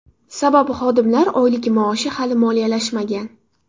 Sababi xodimlar oylik-maoshi hali moliyalashmagan.